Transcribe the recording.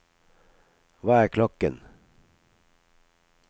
hva er klokken